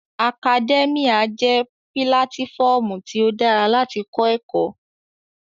Akadẹ́míà jẹ́ pílátífọmu tí ó dára láti kọ́ ẹ̀kọ́